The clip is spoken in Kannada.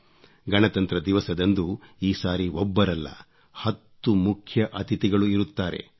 ಗಣತಂತ್ರ ದಿವಸದಂದು ಈ ಸಾರಿ ಒಬ್ಬರಲ್ಲ ಹತ್ತು ಮುಖ್ಯ ಅತಿಥಿಗಳು ಇರುತ್ತಾರೆ